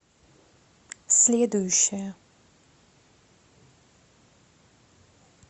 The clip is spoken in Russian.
следующая